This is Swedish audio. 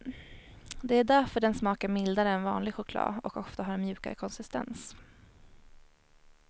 Det är därför den smakar mildare än vanlig choklad och ofta har en mjukare konsistens.